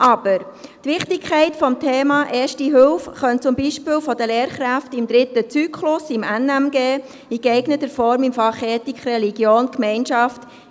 Aber die Wichtigkeit des Themas Erste Hilfe könnte von den Lehrkräften zum Beispiel im dritten Zyklus des Fachs »Natur, Mensch, Gesellschaft (NMG)» behandelt werden, etwa in geeigneter Form im Fach «Ethik, Religion, Gemeinschaft».